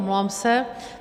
Omlouvám se.